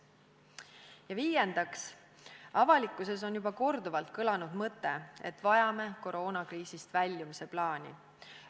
Ja viiendaks, avalikkuses on juba korduvalt kõlanud mõte, et vajame koroonakriisist väljumise plaani.